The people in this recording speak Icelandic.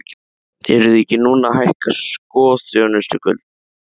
Eruð þið ekki núna að hækka sko þjónustugjöldin?